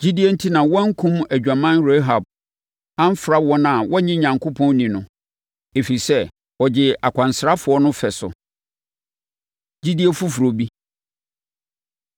Gyidie enti na wɔankum adwaman Rahab amfra wɔn a wɔnnye Onyankopɔn nni no, ɛfiri sɛ, ɔgyee akwansrafoɔ no fɛ so. Gyidie Foforɔ Bi